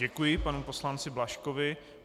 Děkuji panu poslanci Blažkovi.